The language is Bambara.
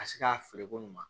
Ka se ka feere ko ɲuman